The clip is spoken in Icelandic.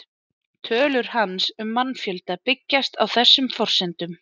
Tölur hans um mannfjölda byggjast á þessum forsendum.